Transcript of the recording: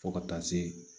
Fo ka taa se